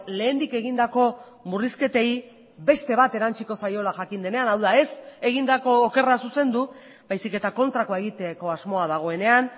lehendik egindako murrizketei beste bat erantsiko zaiola jakin denean hau da ez egindako okerra zuzendu baizik eta kontrakoa egiteko asmoa dagoenean